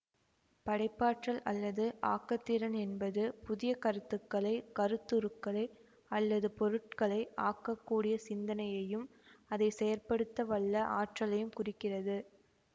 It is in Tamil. படைப்பாற்றல் அல்லது ஆக்கத்திறன் என்பது புதிய கருத்துக்களை கருத்துருக்களை அல்லது பொருட்களை ஆக்க கூடிய சிந்தனையையும் அதை செயற்படுத்த வல்ல ஆற்றலையும் குறிக்கிறது